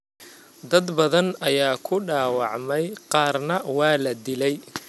Dad badan ayaa ku dhaawacmay qaarna waa la dilay.